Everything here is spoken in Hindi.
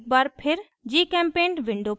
एक बार फिर gchempaint window पर जाएँ